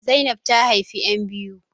Zainab ta haifi ƴan biyu